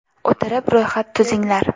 O‘tirib ro‘yxat tuzinglar.